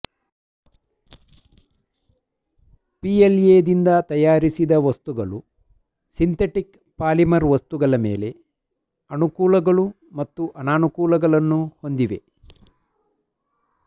ಪಿಎಲ್ಎದಿಂದ ತಯಾರಿಸಿದ ವಸ್ತುಗಳು synthetic polymer ವಸ್ತುಗಳ ಮೇಲೆ ಅನುಕೂಲಗಳು ಮತ್ತು ಅನಾನುಕೂಲಗಳನ್ನು ಹೊಂದಿವೆ